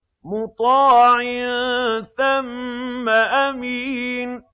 مُّطَاعٍ ثَمَّ أَمِينٍ